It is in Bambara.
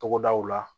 Togodaw la